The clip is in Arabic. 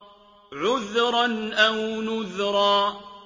عُذْرًا أَوْ نُذْرًا